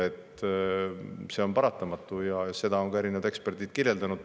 See on paratamatu ja seda on ka erinevad eksperdid öelnud.